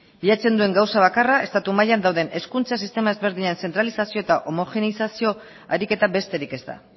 bilatzen duen gauza bakarra estatu mailan dauden hezkuntza sistema ezberdinen deszentralizazio eta homogenizazio ariketa besterik ez da